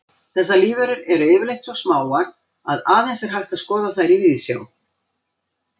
Þessar lífverur eru yfirleitt svo smáar að aðeins er hægt að skoða þær í víðsjá.